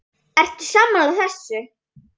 Ertu sammála þessu?